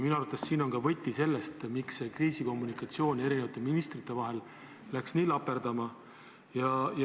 Minu arust on siin ka võti, miks see kriisikommunikatsioon ministrite vahel läks nii laperdama.